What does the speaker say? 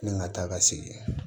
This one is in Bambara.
Ni n ka taa ka segin